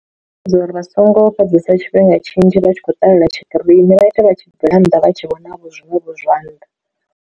Ndi dza uri vha songo fhedzesa tshifhinga tshinzhi vha tshi khou ṱalela tshikirini vha ite vha tshi bvela nnḓa vha tshi vhona vho zwiṅwevho zwa nnḓa.